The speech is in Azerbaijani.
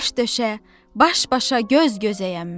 Daş-döşə, baş-başa, göz-gözəyəm mən.